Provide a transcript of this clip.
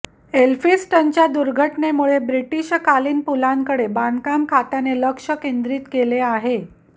एलफिन्स्टनच्या दुर्घटनेमुळे ब्रिटिशकालीन पुलांकडे बांधकाम खात्याने लक्ष केंद्रित केले आहे